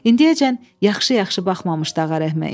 İndiyəcən yaxşı-yaxşı baxmamışdı Ağarəhmə.